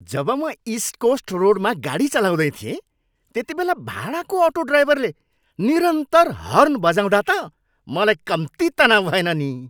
जब म east coast रोडमा गाडी चलाउँदै थिएँ त्यतिबेला भाडाको अटो ड्राइभरले निरन्तर हर्न बजाउँदा त मलाई कम्ति तनाउ भएन नि।